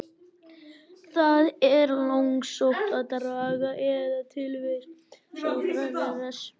Það er langsótt að draga í efa tilvist Sókratesar.